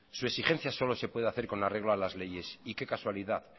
su exigencia solo se puede hacer con el arreglo de las leyes y qué casualidad